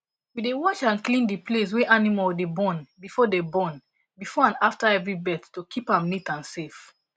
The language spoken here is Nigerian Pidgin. we dey wash and clean the place wey animal dey born before dey born before and after every birth to keep am neat and safe